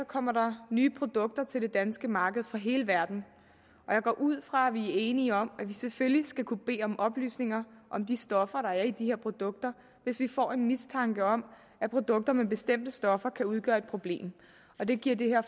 kommer der nye produkter til det danske marked fra hele verden og jeg går ud fra at vi er enige om at vi selvfølgelig skal kunne bede om oplysninger om de stoffer der er i de her produkter hvis vi får en mistanke om at produkter med bestemte stoffer kan udgøre et problem og det giver det her